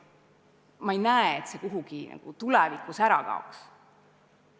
Ma ei näe, et see soov tulevikus ära kaoks.